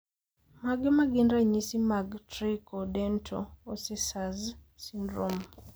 Mage magin ranyisi mag Tricho dento osseous syndrome?